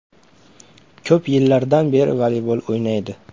Ko‘p yillardan beri voleybol o‘ynaydi.